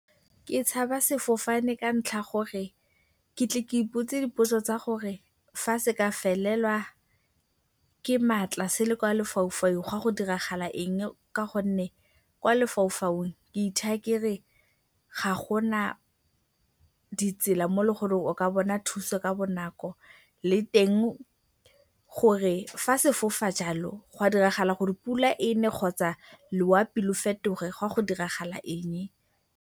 Ke tshaba sefofane ka ntlha gore ke a tle ke ipotse dipotso tsa gore fa se ka felelwa ke maatla se le kwa lefaufaung go ya go diragala eng ka gonne kwa lefaufaung ke ithaya ke re ga go na ditsela mo eleng gore o ka bona thuso ka bonako, le teng gore fa se fofa jalo ga diragala gore pula e ne kgotsa loapi le fetoge go ya go diragala eng.